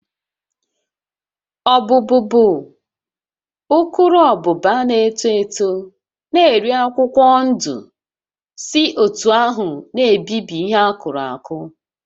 Ọbụ́bụụ bụ ukuruabụba na-eto eto na-eri akwụkwọ ndụ si otú ahụ na-ebibi ihe akụrụ akụ